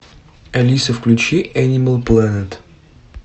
алиса включи энимал плэнет